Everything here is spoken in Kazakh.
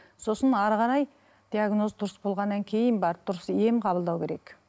сосын әрі қарай диагноз дұрыс болғаннан кейін барып дұрыс ем қабылдау керек